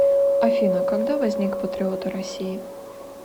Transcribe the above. афина когда возник патриоты россии